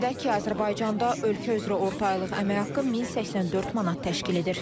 Qeyd edək ki, Azərbaycanda ölkə üzrə orta aylıq əmək haqqı 1084 manat təşkil edir.